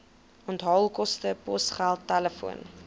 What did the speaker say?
onthaalkoste posgeld telefoon